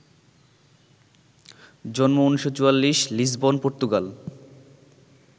জন্ম ১৯৪৪, Lisbon, Portugal